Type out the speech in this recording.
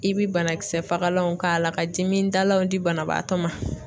I bi banakisɛ fagalanw k'a la ka dimi dalaw di banabaatɔ ma.